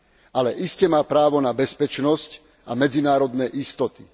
Ale iste má právo na bezpečnosť a medzinárodné istoty.